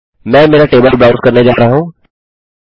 मैं मेरा table browse करने जा रहा हूँ